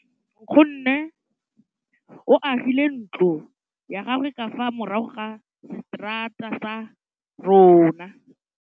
Nkgonne o agile ntlo ya gagwe ka fa morago ga seterata sa rona.